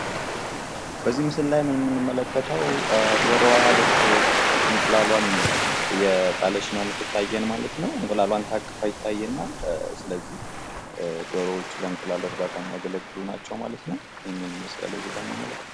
በዚህ ምስል ላይ የምንመለከተው ዶሮዋ ልክ እንቁላሏን እየጣለች ነው የሚታየው ማለት ነው። እንቁላሏን ታቅፋ ይታየናል። ስለዚህ ዶሮዎች ለእንቁላል እርባታ የሚያገለግሉን ናቸው ማለት ነው። ይህንን ይመስላል እዚህ ላይ የምንመለከተው።